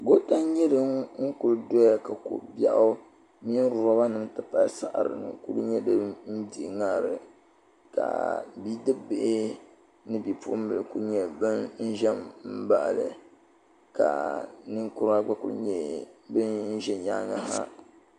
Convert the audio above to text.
goota n kuli nyɛ dini doya ka ko bɛɣ bɛ di puuni ka lobanim bɛ dini n dihi ŋarili ka bidɛbihi ni ni poɣim bihi bɛ dini ka nɛkura gba kuli ʒɛ nyɛŋa ha